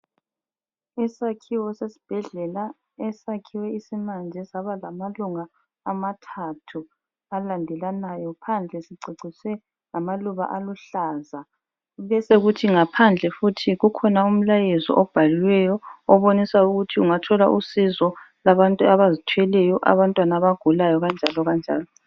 Isakhiwo sesibhedlela esakhiwe isimanje sabalamalunga amathathu alandelanayo. Phandle siceciswe ngamaluba aluhlaza besekuthi ngaphandle futhi kukhona umlayezo obhaliweyo obonisa ukuthi ungathola usizo lwabantu abazithweleyo, abantwana abagulayo kanjalo kanjalo.